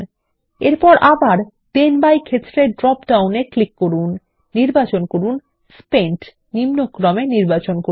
দ্বিতীয় then by ক্ষেত্রে drop ডাউনে ক্লিক করুন নির্বাচন করুন স্পেন্ট এবং তারপর আবার ডিসেন্ডিং নির্বাচন করুন